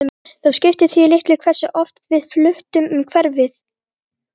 Það skipti því litlu hversu oft við fluttum um hverfi.